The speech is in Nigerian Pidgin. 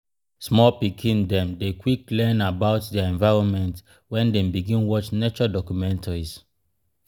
small pikin dem dey quick learn about dier environment wen dem begin watch nature documentaries.